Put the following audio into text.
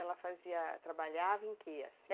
Ela fazia... Trabalhava em que, assim?